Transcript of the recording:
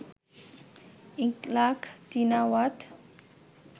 Yingluck Shinawatra